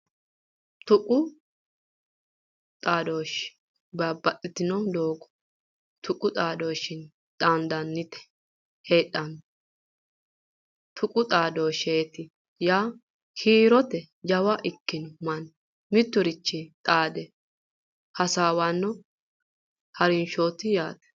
Tuqu xaadooshshe babbaxxitino doogo tuqu xaadooshshinni xaandanniti heedhanno tuqu xaadooshsheeti yaa kiirotenni jawa ikkino manni mitturichinni xaade hasaawanno harinshooti yaate